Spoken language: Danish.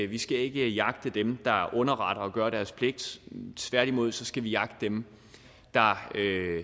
vi skal ikke jagte dem der underretter og gør deres pligt tværtimod skal vi jagte dem der